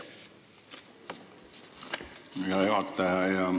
Aitäh, hea juhataja!